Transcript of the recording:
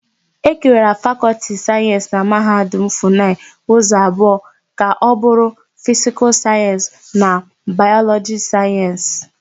Ekewara Fakọltị Sayensị na Mahadum Funayị ụzọ abụọ ka ọbụrụ Fisikal Sayensị na Bayọlọjịkal Sayensị.